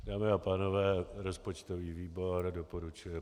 Dámy a pánové, rozpočtový výbor doporučuje